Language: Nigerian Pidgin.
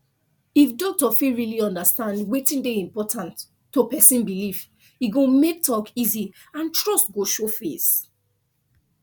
if doctor fit really understand wetin dey important to person belief e go make talk easy and trust go show face